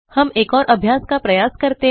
हम एक और अभ्यास का प्रयास करते हैं